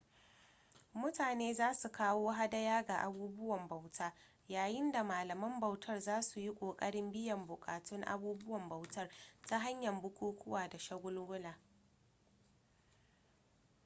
mutane za su kawo hadaya ga abubuwan bauta yayin da malaman bautar za su yi ƙoƙarin biyan buƙatun abubuwan bautar ta hanyar bukukuwa da shagulgula